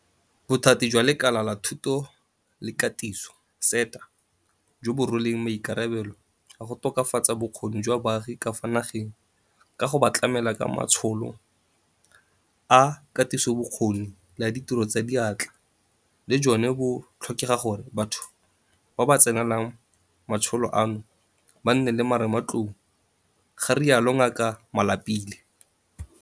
Bothati jwa Lekala la Thuto le Katiso, SETA, jo bo rweleng maikarabelo a go tokafatsa bokgoni jwa baagi ka fa nageng ka go ba tlamela ka matsholo a katisobokgoni le a ditiro tsa diatla, le jone bo tlhoka gore batho ba ba tsenelang matsholo ano ba nne le marematlou, ga rialo Ngaka Malapile.